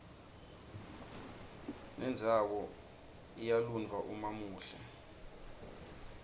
nendzawoiya lunydwa umaumuhle